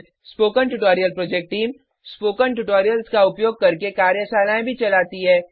spoken tutorial project team spoken tutorials का उपयोग करके कार्यशालाएँ भी चलाती है